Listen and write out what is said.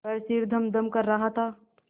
पर सिर धमधम कर रहा था